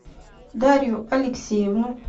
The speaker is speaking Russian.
дарью алексеевну